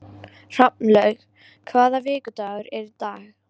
Hrafnlaug, hvaða vikudagur er í dag?